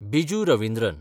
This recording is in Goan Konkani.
बिजू रविंद्रन